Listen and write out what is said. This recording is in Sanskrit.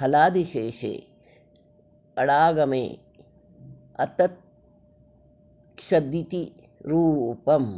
हलादिशेषेऽडागमेऽततक्षदिति रूपम्